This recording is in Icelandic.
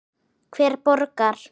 Hver borgar?